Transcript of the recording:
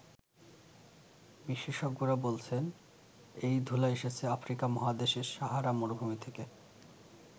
বিশেষজ্ঞরা বলছেন, এই ধূলা এসেছে আফ্রিকা মহাদেশের সাহারা মরুভূমি থেকে।